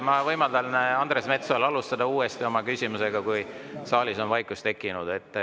Ma võimaldan Andres Metsojal alustada oma küsimust uuesti, kui saalis on vaikus tekkinud.